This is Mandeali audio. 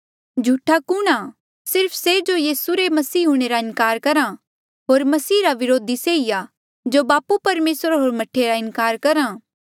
झूठा कुणहां सिर्फ से जो यीसू रे मसीह हूंणे रा इनकार करहा होर मसीह रा व्रोधी से ई आ जो बापू परमेसर होर मह्ठे रा इनकार करहा